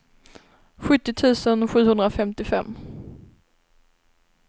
sjuttio tusen sjuhundrafemtiofem